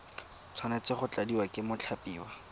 tshwanetse go tladiwa ke mothapiwa